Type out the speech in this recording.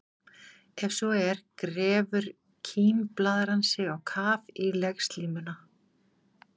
Ef svo er grefur kímblaðran sig á kaf í legslímuna.